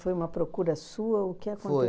Foi